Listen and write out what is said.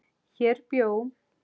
Hér bjó